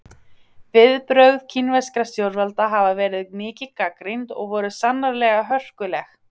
Viðbrögð kínverskra stjórnvalda hafa verið mikið gagnrýnd og voru sannarlega hörkuleg.